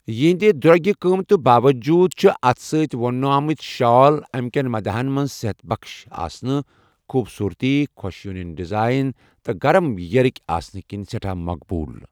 یہندِ درٛوگہِ قٕمتہٕ باوجود چھِ اتھہٕ سۭتۍ وۄُنمٕتہِ شال چھِ امہِ کٮ۪ن مداحن مَنٛز صحت بخش آسنہٕ ، خوبصورتی، خۄش یونین ڈیزائن تہٕ گرم ییرٕكہِ آسنہٕ كِنہِ سیٹھاہ مقبوٗل ۔